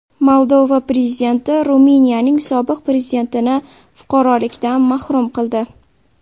Moldova prezidenti Ruminiyaning sobiq prezidentini fuqarolikdan mahrum qildi.